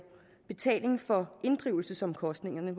betaling for inddrivelsesomkostningerne